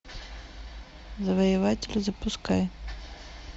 завоеватели запускай